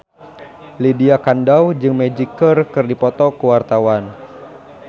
Lydia Kandou jeung Magic keur dipoto ku wartawan